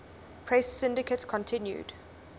press syndicate continued